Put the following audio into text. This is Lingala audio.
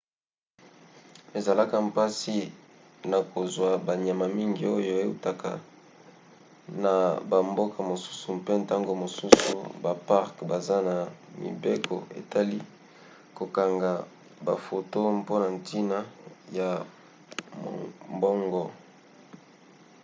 ezalaka mpasi na kozwa banyama mingi oyo eutaka na bamboka mosusu mpe ntango mosusu baparke baza na mibeko etali kokanga bafoto mpona ntina ya mombongo